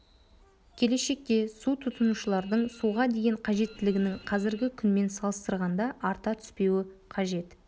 келешекте су тұтынушылардың суға деген қажеттілігінің қазіргі күнмен салыстырғанда арта түспеуі қажет